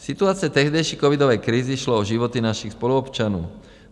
V situaci tehdejší covidové krize šlo o životy našich spoluobčanů.